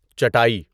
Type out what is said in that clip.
چٹاٮٔی